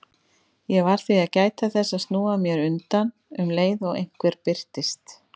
Ég varð því að gæta þess að snúa mér undan um leið og einhver birtist.